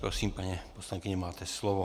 Prosím, paní poslankyně, máte slovo.